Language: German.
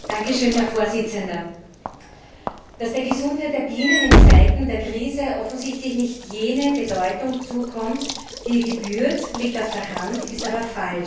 Herr Präsident! Dass der Gesundheit der Bienen in Zeiten der Krise offensichtlich nicht jene Bedeutung zukommt, die ihr gebührt, liegt auf der Hand, ist aber falsch.